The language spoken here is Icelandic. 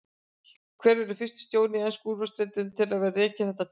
Hver verður fyrsti stjórinn í ensku úrvalsdeildinni til að vera rekinn þetta tímabilið?